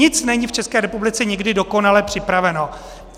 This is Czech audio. Nic není v České republice nikdy dokonale připraveno.